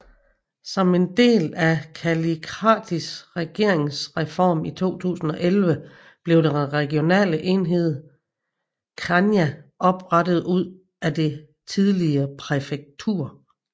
Som en del af Kallikratis regeringsreform i 2011 blev den regionale enhed Chania oprettet ud af det tidligere præfektur